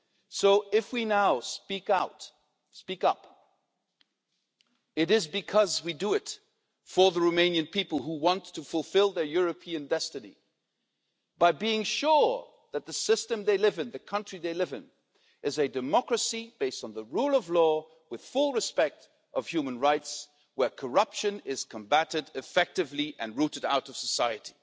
So, if we now speak out and speak up, it is because we are doing it for the Romanian people, who want to fulfil their European destiny by being sure that the system they live in the country they live in is a democracy based on the rule of law, with full respect for human rights, and where corruption is combated effectively and rooted out of society.